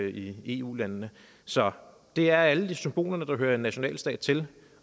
i eu landene så det er alle de symboler der hører en nationalstat til